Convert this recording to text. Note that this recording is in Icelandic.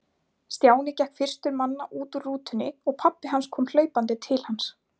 Stjáni gekk fyrstur manna út úr rútunni og pabbi kom hlaupandi til hans.